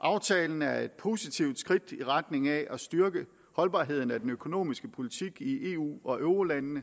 aftalen er et positivt skridt i retning af at styrke holdbarheden af den økonomiske politik i eu og eurolandene